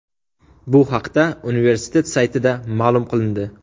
Bu haqda universitet saytida ma’lum qilindi .